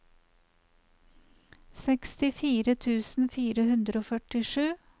sekstifire tusen fire hundre og førtisju